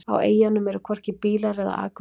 Á eyjunum eru hvorki bílar eða akvegir.